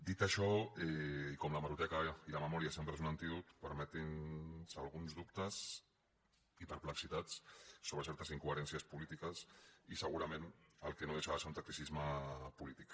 dit això i com l’hemeroteca i la memòria sempre són un antídot permetin nos alguns dubtes i perplexitats sobre certes incoherències polítiques i segurament el que no deixa de ser un tacticisme polític